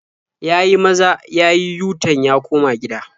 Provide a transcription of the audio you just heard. Ya yi maza ya yi yu-tan ya koma gida.